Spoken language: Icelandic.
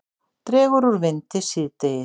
Dregur úr vindi síðdegis